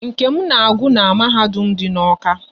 Nkem na agụ n'mahadum dị n'Awka